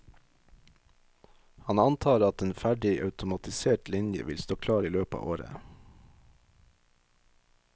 Han antar at en ferdig automatisert linje vil stå klar i løpet av året.